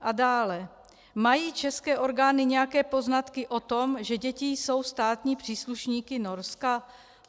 A dále: Mají české orgány nějaké poznatky o tom, že děti jsou státními příslušníky Norska?